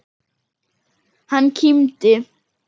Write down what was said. Hann kímdi.